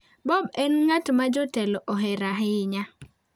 Bob en ng'at ma jatelo ohero ahinya.